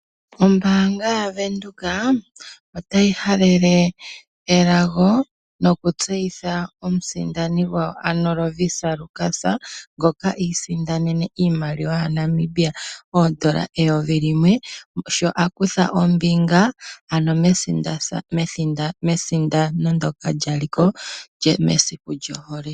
Ombaanga yaVenduka otayi halele elago nokutseyitha omusindani gwawo ano Lovisa Lukas ngoka iisindanene iimaliwa yaNamibia oodola eyovi limwe sho akutha ombinga ano methigathano ndyoka lyali ko mesiku lyohole.